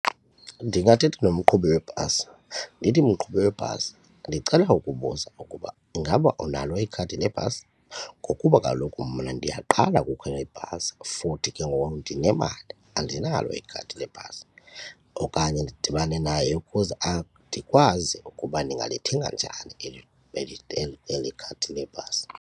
Ndingathetha nomqhubi webhasi ndithi, mqhubi webhasi ndicela ukubuza ukuba ingaba unalo ikhadi lebhasi ngokuba kaloku mna ndiyaqala ukukhwela ibhasi for kuthi ke ngoku ndinemali andinalo ikhadi lebhasi. Okanye ndidibane naye ukuze ndikwazi ukuba ndingalithenga njani eli khadi lebhasi.